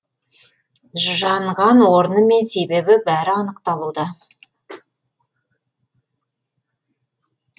жанған орны мен себебі бәрі анықталуда